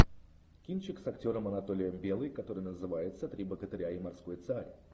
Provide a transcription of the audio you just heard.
кинчик с актером анатолием белый который называется три богатыря и морской царь